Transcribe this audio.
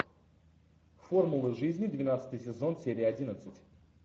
формула жизни двенадцатый сезон серия одиннадцать